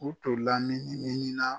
U tun lamini minina